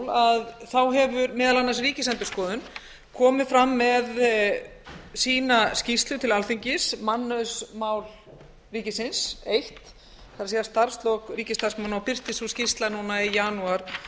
fyrir jól hefur meðal annars ríkisendurskoðun komið fram með sína skýrslu til alþingis mannauðsmál ríkisins eins það er starfslok ríkisstarfsmanna og birtist sú skýrsla núna í janúar tvö þúsund og